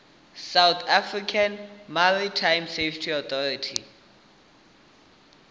south african maritime safety authority